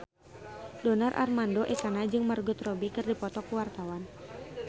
Donar Armando Ekana jeung Margot Robbie keur dipoto ku wartawan